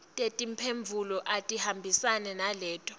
tetimphendvulo atihambisane naleto